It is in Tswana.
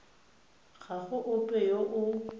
ga go ope yo o